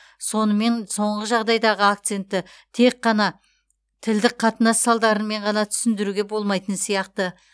сонымен соңғы жағдайдағы акцентті тек қана тілдік қатынас салдарымен ғана түсіндіруге болмайтын сияқты